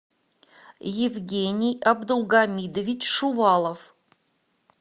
евгений абдулгамидович шувалов